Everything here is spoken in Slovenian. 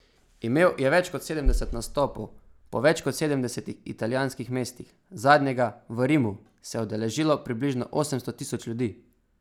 Imel je več kot sedemdeset nastopov po več kot sedemdesetih italijanskih mestih, zadnjega, v Rimu, se je udeležilo približno osemsto tisoč ljudi.